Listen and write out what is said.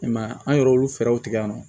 I m'a ye an yɛrɛ olu fɛɛrɛw tigɛ ka nɔ